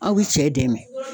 Aw bi cɛ dɛmɛ.